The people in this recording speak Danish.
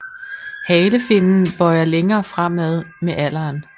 Halefinnen bøjer længere fremad med alderen